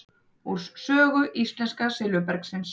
Úr sögu íslenska silfurbergsins.